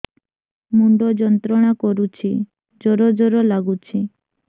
ମୁଣ୍ଡ ଯନ୍ତ୍ରଣା କରୁଛି ଜର ଜର ଲାଗୁଛି